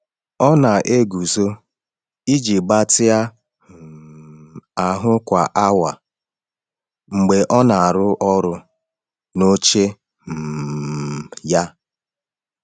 Ọ na-eguzo iji gbatịa um ahụ kwa awa mgbe ọ na-arụ ọrụ n’oche um ya.